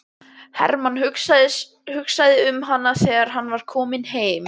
Hermann hugsaði um hana þegar hann var kominn heim.